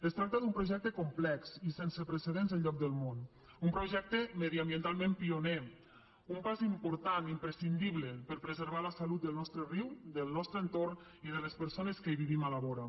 es tracta d’un projecte complex i sense precedents enlloc del món un projecte mediambientalment pioner un pas important i imprescindible per a preservar la salut del nostre riu del nostre entorn i de les persones que hi vivim a la vora